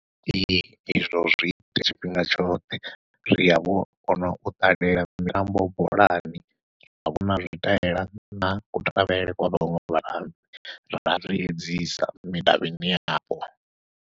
Ee izwo zwi ita tshifhinga tshoṱhe riya vho u kona u ṱalela mitambo bolani, ra vhona zwitaela na kutambele kwa vhaṅwe vhatambi ra zwiedzisa midavhini yapo.